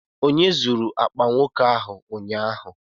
Onye zuru akpa nwoke ahụ ụnyaahụ?